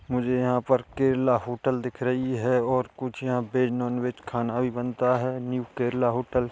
मुझे यहाँ पर केरला होटल दिख रही है और कुछ यहाँ पे नॉन वेज खाना भी बनता है न्यू केरला होटल --